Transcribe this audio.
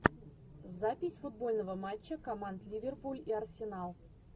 запись футбольного матча команд ливерпуль и арсенал